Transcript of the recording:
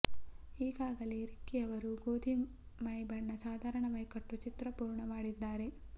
ಈಗಾಗಲೇ ರಿಕ್ಕಿ ಅವರು ಗೋಧಿ ಮೈ ಬಣ್ಣ ಸಾಧಾರಣ ಮೈಕಟ್ಟು ಚಿತ್ರ ಪೂರ್ಣ ಮಾಡಿದ್ದಾರೆ